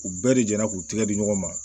U bɛɛ de jɛnna k'u tɛgɛ di ɲɔgɔn ma